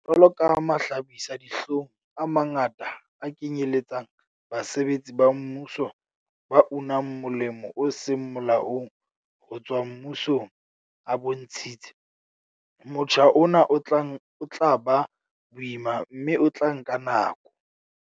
Jwalo ka mahlabisa-dihlong a mangata a kenyeletsang basebetsi ba mmuso ba unang molemo o seng molaong ho tswa mmusong a bontshitse, motjha ona o tla ba boima mme o tla nka nako.